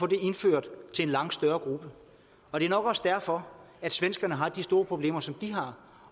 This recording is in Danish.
indført til en langt større gruppe og det er nok også derfor at svenskerne har de store problemer som de har